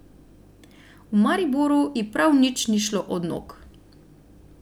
V Mariboru ji prav nič ni šlo od nog.